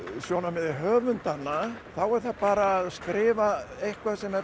sjónarmiði höfundanna þá er það bara að skrifa eitthvað sem